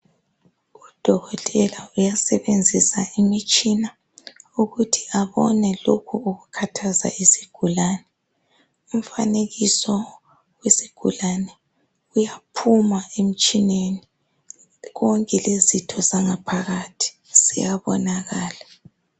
Udokotela uyasebenzisa imitshina ukuthi abone lokho okukhathaza isigulane. Umfanekiso wesigulane kuyaphuma. emtshineni konke. Lezitho zangaphakathi ziyanonaka